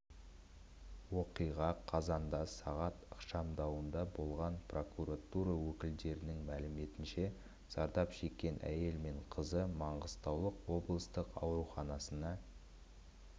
оқиға қазанда сағат ықшамауданда болған прокуратура өкілдерінің мәліметінше зардап шеккен әйел мен қызы маңғыстау облыстық ауруханасына